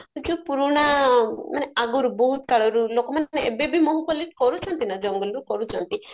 ଯୋଉ ପୁରୁଣା ଆଗରୁ ମାନେ ବହୁତ କାଳରୁ ଲୋକମାନେ ସିନା ଏବେ ବି ମହୁ collect କରୁଚନ୍ତି ନାଁ ଜଙ୍ଗଲରୁ କରୁଛନ୍ତି